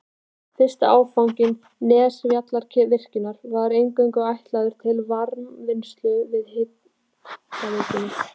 Fyrsti áfangi Nesjavallavirkjunar var eingöngu ætlaður til varmavinnslu fyrir hitaveituna.